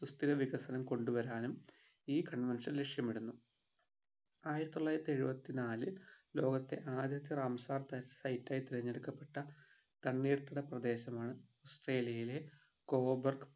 സുസ്ഥിര വികസനം കൊണ്ടുവരാനും ഈ convention ലക്ഷ്യമിടുന്നു ആയിരത്തിത്തൊള്ളായിരത്തി എഴുപത്തിനാലിൽ ലോകത്തെ ആദ്യത്തെ റാംസാർ ത site ആയിട്ട് തിരഞ്ഞെടുക്കപ്പെട്ട തണ്ണീർത്തട പ്രദേശമാണ് ഓസ്‌ട്രേലിയയിലെ കോബാർക്